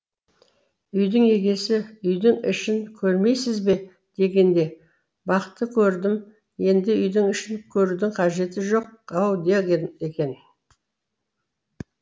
үйдің егесі үйдің ішін көрмейсіз бе дегенде бақты көрдім енді үйдің ішін көрудің қажеті жоқ ау деген екен